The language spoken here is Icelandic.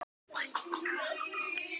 Tóti brosti.